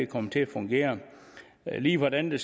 kommer til at fungere lige hvordan det